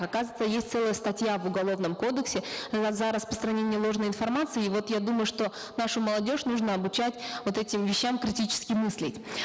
оказывается есть целая статья в уголовном кодексе за распространение ложной информации и вот я думаю что нашу молодежь нужно обучать вот этим вещам критически мыслить